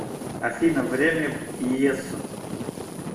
афина время в иессо